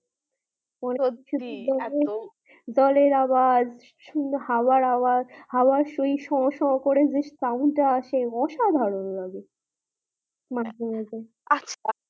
সত্যি এতো জল এর আওয়াজ হওয়ার আওয়াজ হওয়ার ওই শো শো করে sound টা আসে অসাধারণ লাগে